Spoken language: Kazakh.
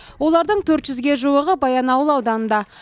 олардың төрт жүзге жуығы баянауыл ауданында